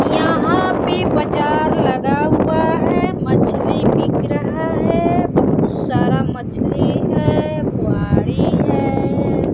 यहाँ पे बाजार लगा हुआ हैं मछली बिक रहा हैं बहोत सारा मछली हैं। है।